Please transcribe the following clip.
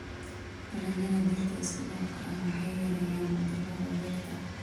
Dalagyada dhirta isku-dhafka ah waxay yareeyaan cudurrada beerta.